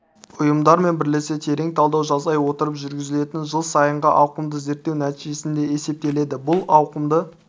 ұйымдармен бірлесе терең талдау жасай отырып жүргізілетін жыл сайынғы ауқымды зерттеу нәтижесінде есептеледі бұл ауқымды